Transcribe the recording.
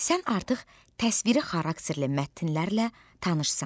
Sən artıq təsviri xarakterli mətnlərlə tanışsan.